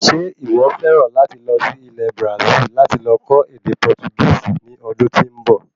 Ṣe iwọ fẹràn láti lọ sí Ilẹ̀ Brasil láti lọ kò ède Portugisi ní ọdún tí nbọ?